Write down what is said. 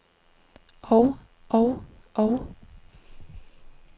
og og og